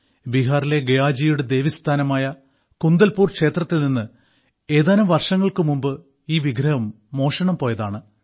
ബീഹാറിലെ ഗയാജിയുടെ ദേവീസ്ഥാനമായ കുന്ദൽപൂർ ക്ഷേത്രത്തിൽ നിന്ന് ഏതാനും വർഷങ്ങൾക്ക് മുമ്പ് ഈ വിഗ്രഹം മോഷണം പോയതാണ്